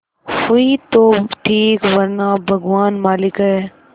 हुई तो ठीक वरना भगवान मालिक है